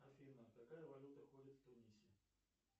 афина какая валюта ходит в тунисе